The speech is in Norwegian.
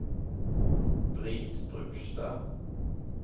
Britt Brustad